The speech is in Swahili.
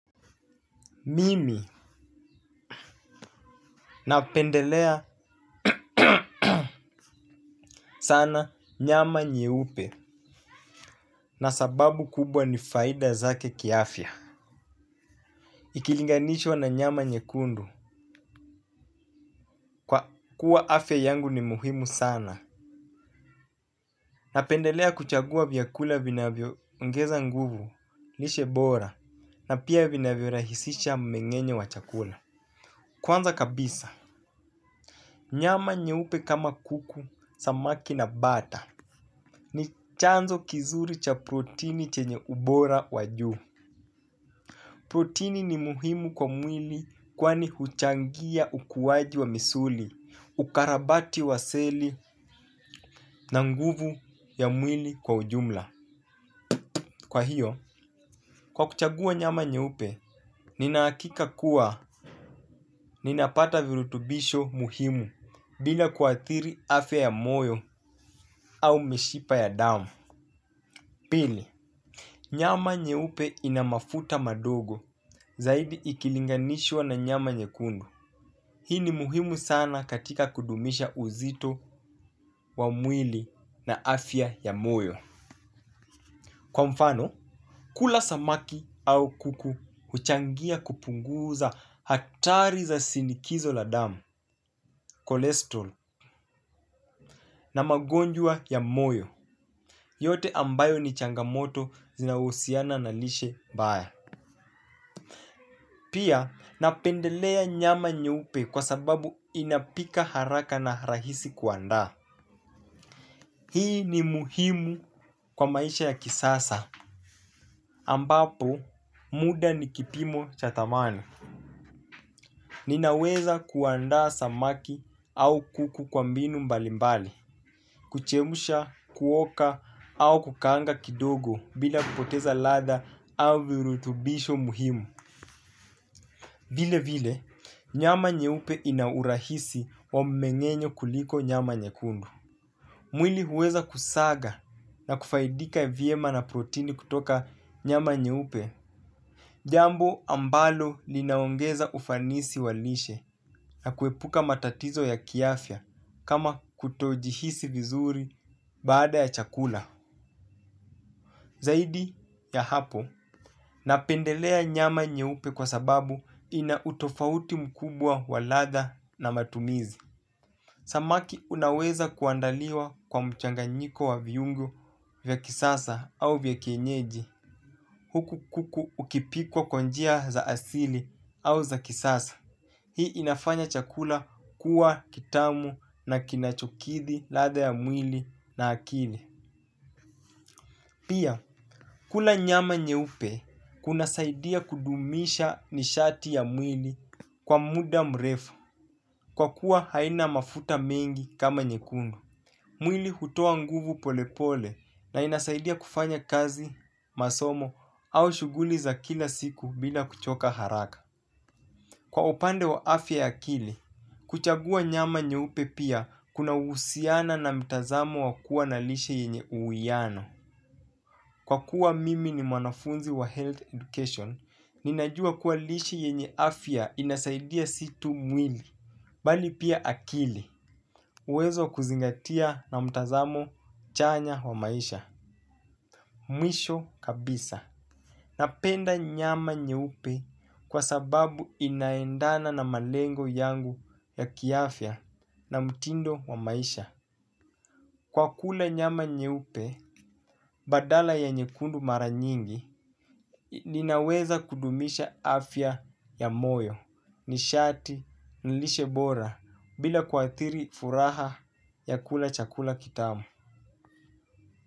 Mimi napendelea sana nyama nyeupe na sababu kubwa ni faida zake ki afya. Ikilinganishiwa na nyama nyekundu kwa kuwa afya yangu ni muhimu sana. Napendelea kuchagua vyakula vinavyoongeza nguvu lishe bora na pia vinavyo rahisisha mmengenyo wa chakula. Kwanza kabisa, nyama nyeupe kama kuku, samaki na bata ni chanzo kizuri cha proteni chenye ubora wa juu. Proteni ni muhimu kwa mwili kwani huchangia ukuaji wa misuli, ukarabati wa seli na nguvu ya mwili kwa ujumla. Kwa hio, kwa kuchagua nyama nyeupe, ninahakika kuwa ninapata virutubisho muhimu bila kuathiri afya ya moyo au mishipa ya damu. Pili, nyama nyeupe ina mafuta madogo zaidi ikilinganishwa na nyama nyekundu. Hii ni muhimu sana katika kudumisha uzito wa mwili na afya ya moyo. Kwa mfano, kula samaki au kuku huchangia kupunguza hatari za sinikizo la damu, cholesterol na magonjwa ya moyo. Yote ambayo ni changamoto zinahusiana na lishe mbaya. Pia napendelea nyama nyeupe kwasababu inapika haraka na rahisi kuandaa. Hii ni muhimu kwa maisha ya kisasa. Ambapo, muda ni kipimo cha dhamani. Ninaweza kuandaa samaki au kuku kwa mbinu mbali mbali. Kuchemsha, kuoka au kukaanga kidogo bila kupoteza ladha au virutubisho muhimu vile vile, nyama nyeupe inaurahisi wa mmengenyo kuliko nyama nyekundu. Mwili huweza kusaga na kufaidika vyema na protini kutoka nyama nyeupe. Jambo ambalo linaongeza ufanisi wa lishe na kuepuka matatizo ya kiafya kama kutojihisi vizuri baada ya chakula. Zaidi ya hapo, napendelea nyama nyeupe kwa sababu ina utofauti mkubwa waladha na matumizi. Samaki unaweza kuandaliwa kwa mchanganyiko wa viungo vya kisasa au vya kienyeji huku kuku ukipikwa kwa njia za asili au za kisasa. Hii inafanya chakula kuwa kitamu na kinachokithi ladha ya mwili na akili. Pia, kula nyama nyeupe kuna saidia kudumisha nishati ya mwili kwa muda mrefu kwa kuwa haina mafuta mengi kama nyekundu. Mwili hutua nguvu pole pole na inasaidia kufanya kazi, masomo au shughuli za kila siku bila kuchoka haraka. Kwa upande wa afya ya akili, kuchagua nyama nyeupe pia kunahusiana na mtazamo wa lishe yenye uwiano. Kwa kuwa mimi ni mwanafunzi wa health education, ninajua kuwa lishe yenye afya inasaidia si tu mwili, bali pia akili. Uwezo wa kuzingatia na mtazamo chanya wa maisha, mwisho kabisa. Napenda nyama nyeupe kwa sababu inaendana na malengo yangu ya kiafya na mtindo wa maisha. Kwa kula nyama nyeupe, badala ya nyekundu mara nyingi, ninaweza kudumisha afya ya moyo, nishati, lishe bora, bila kuathiri furaha ya kula chakula kitamu.